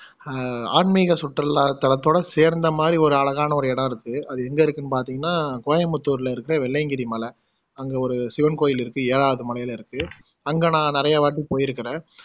அஹ் ஆன்மீக சுற்றுலா தலத்தோட சேர்ந்த மாதிரி ஒரு அழகான ஒரு இடம் இருக்கு அது எங்க இருக்குன்னு பாத்திங்கன்னா கோயம்பித்தூர்ல இருக்குற வெள்ளையங்கிரி மலை அங்க ஒரு சிவன் கோயில் இருக்கு ஏழாவது மலைல இருக்கு அங்க நான் நிறையா வாட்டி போயிருக்குறேன்